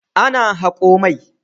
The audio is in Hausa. Ana hako mai.